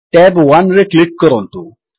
tab 1ରେ click କରନ୍ତୁ